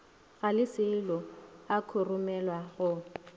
ga leselo a khurumelwa go